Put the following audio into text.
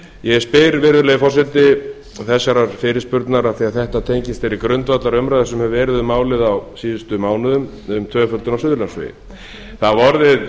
ég spyr virðulegi forseti þessarar fyrirspurnar af því það tengist þeirri grundvallarumræðu sem hefur verið um málið á síðustu mánuðum um tvöföldun á suðurlandsvegi það hafa orðið